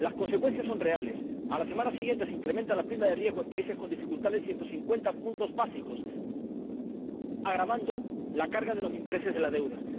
Las consecuencias son reales a la semana siguiente se incrementa la prima de riesgo en países con dificultades en 150 puntos básicos, agravando la carga de los intereses de la deuda.